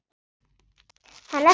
Hann er þarna!